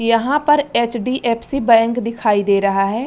यहाँ पर HDFC. Bank दिखाई दे रहा है।